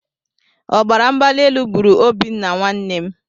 Ọbaramgbalielu gburu Obinna my brother.